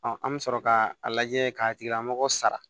an bɛ sɔrɔ k'a a lajɛ k'a tigilamɔgɔ sara